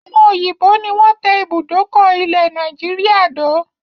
Àwọn òyìnbó ni wọn tẹ ibùdókọ̀ ilẹ̀ Nàìjíríà dó